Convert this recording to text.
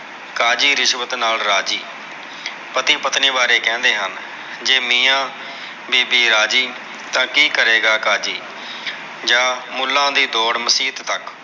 ਕਾਜੀ ਰਿਸ਼ਵਤ ਨਾਲ ਰਾਜੀ। ਪਤੀ ਪਤਨੀ ਬਾਰੇ ਕਹਿੰਦੇ ਹਨ। ਜੇ ਮੀਆਂ ਬੀਬੀ ਰਾਜੀ ਤਾ, ਕੀ ਕਰੇਗਾ ਕਾਜੀ। ਜਾਂ ਮੁੱਲਾ ਦੀ ਦੌੜ ਮਸੀਤ ਤੱਕ